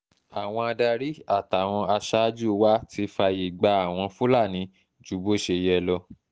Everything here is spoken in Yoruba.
àwọn adarí àtàwọn aṣáájú wa ti fààyè gba àwọn fúlàní ju bó ṣe yẹ lọ